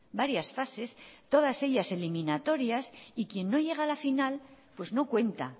varias fases todas ellas eliminatorias y quien no llega a la final pues no cuenta